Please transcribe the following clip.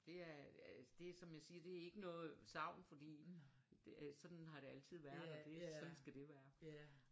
Det er altså det som jeg siger det er ikke noget savn fordi sådan har det altid været og det sådan skal det være